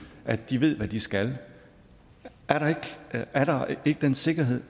at de ved hvad de skal er der ikke den sikkerhed